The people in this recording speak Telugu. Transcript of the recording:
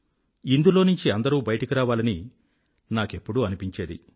ఇందులోంచి అందరూ బయటకు రావాలని నాకెప్పుడూ అనిపించేది